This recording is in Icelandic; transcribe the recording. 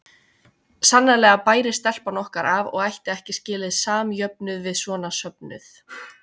Sannarlega bæri stelpan okkar af og ætti ekki skilið samjöfnuð við svona söfnuð.